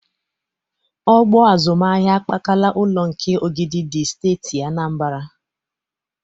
Ọgbọ azụmahịa akpakala ụlọ nke Ogidi dị Steeti Anambara.